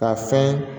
Ka fɛn